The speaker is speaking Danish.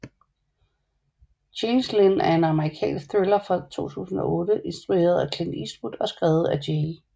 Changeling er en amerikansk thriller fra 2008 instrueret af Clint Eastwood og skrevet af J